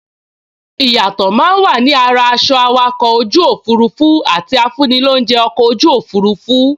Ìyàtọ̀ máa n wà ni ara aṣọ awakọ̀ ojú òfurufú àti afúnilóunjẹ́ ọkọ̀ ojú òfurufú